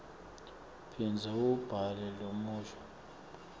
phindza uwubhale lomusho